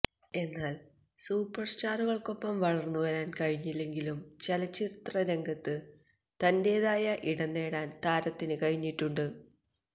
എന്നാൽ സൂപ്പർ സ്റ്റാറുകൾക്കൊപ്പം വളർന്നു വരാൻ കഴിഞ്ഞില്ലെങ്കിലും ചലച്ചിത്രരംഗത്ത് തന്റേതായ ഇടം നേടാൻ താരത്തിന് കഴിഞ്ഞിട്ടുണ്ട്